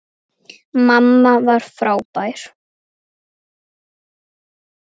Mamma var frábær.